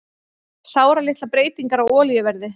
Sáralitlar breytingar á olíuverði